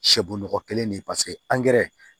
Sɛbon nɔgɔ kelen de ye paseke